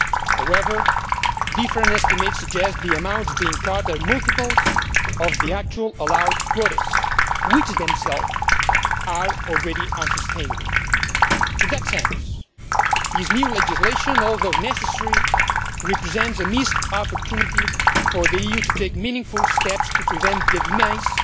However, different estimates suggest the amounts being caught are multiples of the actual allowed quotas, which themselves are already unsustainable. In that sense, this new legislation, although necessary, represents a missed opportunity for the EU to take meaningful steps to prevent the demise